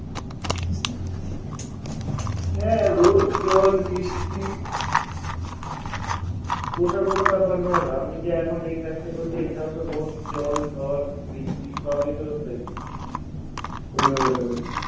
হ্যাঁ রোদ জল বৃষ্টি ওটা কোনো ব্যাপার নয় রে আমি যে এখন এই কাজটা করছি এটাও তো রোদ, জল, ঝড়, বৃষ্টি সবই তো হয়েছে হম